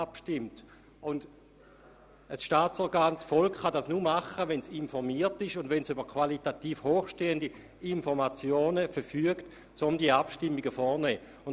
Und das Volk als Staatsorgan kann dies nur tun, wenn es über qualitativ hochstehende Informationen verfügt, um diese Abstimmungen vorzunehmen.